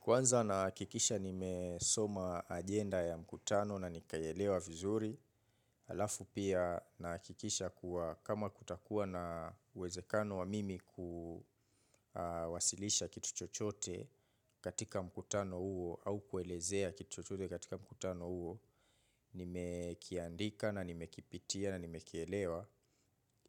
Kwanza naha kikisha nimesoma ajenda ya mkutano na nikayelewa vizuri, alafu pia na kikisha kuwa kama kutakuwa na uwezekano wa mimi kawasilisha kitu chochote katika mkutano huo au kuelezea kitu chochote katika mkutano huo, nime kiandika na nime kipitia na nime kielewa